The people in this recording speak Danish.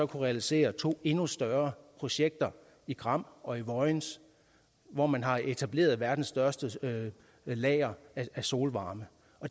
realisere to endnu større projekter i gram og i vojens hvor man har etableret verdens største lager af solvarme